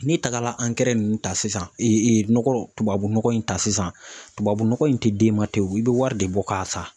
N'i tagara ankɛrɛ ninnu ta sisan nɔgɔ tubabunɔgɔ in ta sisan tubabunɔgɔ in tɛ d'e ma ten o i bɛ wari de bɔ k'a san.